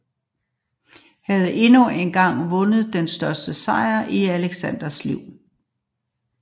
Makedonernes mod og disciplin havde endnu engang vundet den største sejr i Alexanders liv